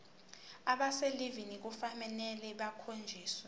abaselivini kufanele bakhonjiswe